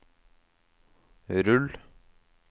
rull